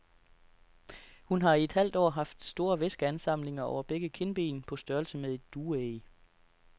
Hun har i et halvt år haft store væskeansamlinger over begge kindben på størrelse med et dueæg.